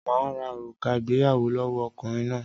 Màá ra òrùka ìgbéyàwó lọ́wọ́ ọkùnrin náà